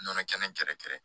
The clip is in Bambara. Nɔnɔ kɛnɛ gɛrɛ gɛrɛ